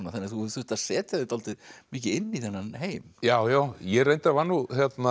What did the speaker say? þú hefur þurft að setja þig dálítið mikið inn í þennan heim já já ég reyndar var nú